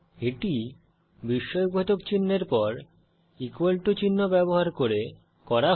এটি বিস্ময়বোধক চিনহের পর ইকুয়াল টু চিহ্ন ব্যবহার করে করা হয়